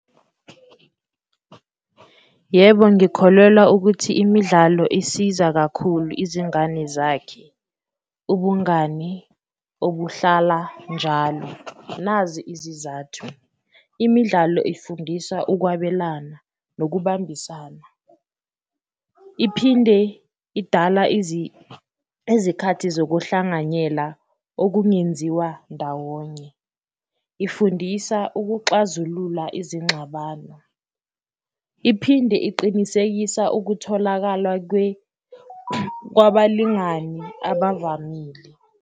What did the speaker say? Yebo, ngikholelwa ukuthi imidlalo isiza kakhulu izingane zakhe ubungani obuhlala njalo, nazi izizathu. Imidlalo ifundisa ukwabelana nokubambisana, iphinde idala izikhathi zokuhlanganyela okungenziwa ndawonye, ifundisa ukuxazulula izingxabano, iphinde iqinisekisa ukutholakala kwabalingani abavamile.